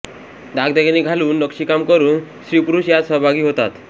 दागदागिने घालून नक्षीकाम करून स्त्रीपुरुष यात सहभागी होतात